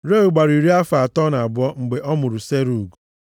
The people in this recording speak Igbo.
Reu gbara iri afọ atọ na abụọ mgbe ọ mụrụ Serug.